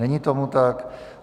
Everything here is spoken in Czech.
Není tomu tak.